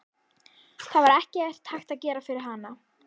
Það var ekkert hægt að gera fyrir hana.